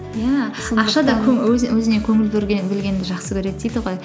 иә өзіне көңіл бөлгенді жақсы көреді дейді ғой